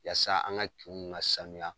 Yasa an ka kiw ka sanuya